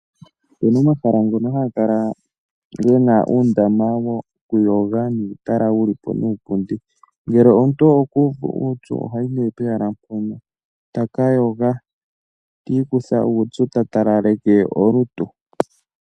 Ope na omahala ngono haga kala ge na uundama wokuyoga nuutala wu li po niipundi. Ngele omuntu okuuvu upyu ohayi nee pehala mpono taka yoga tiikutha uupyu ta talaleke olutu.